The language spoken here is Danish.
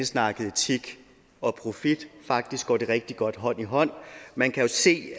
snakke etik og profit faktisk går det rigtig godt hånd i hånd man kan jo se